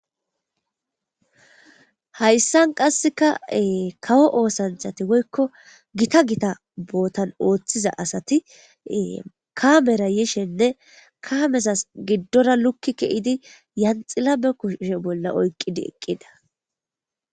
Hayssan qassekaee kawo oosanthati woykko gita gita bootan ooththiza asati kamera yishenne kaamesas giddora lukki ke'idi yanxila be kusshe bolla oyqqidi eqqida